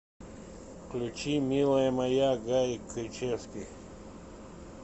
включи милая моя гарик кричевский